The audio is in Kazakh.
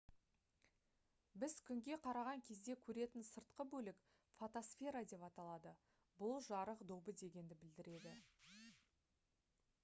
біз күнге қараған кезде көретін сыртқы бөлік фотосфера деп аталады бұл «жарық добы» дегенді білдіреді